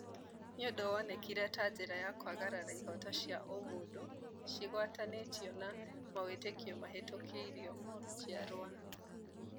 Nĩ ũndũ wonekire ta njĩra ya kwagarara ihooto cia ũmũndũ cigwatanĩtio na mawĩtĩkio mahĩtũkĩirio njiarwa